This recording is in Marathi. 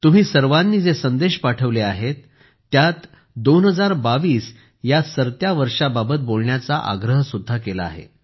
तुम्ही सर्वांनी जे संदेश पाठवले आहेत त्यात 2022 या सरत्या वर्षाबाबत बोलण्याचा आग्रहसुद्धा केला आहे